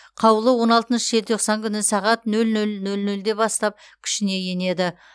қаулы он алтыншы желтоқсан күні сағат нөл нөл нөл нөлде бастап күшіне енеді